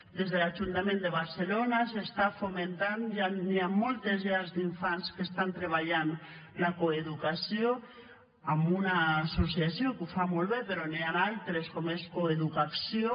des de l’ajuntament de barcelona s’està fomentant ja hi han moltes llars d’infants que estan treballant la coeducació amb una associació que ho fa molt bé però n’hi han altres com és coeducacció